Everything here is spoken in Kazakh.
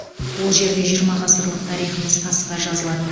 ол жерде жиырма ғасырлық тарихымыз тасқа жазылады